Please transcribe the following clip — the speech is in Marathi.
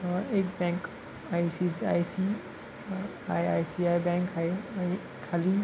अ एक बँक आयसीसीआयसी आयआयसीआय बँक आहे खाली --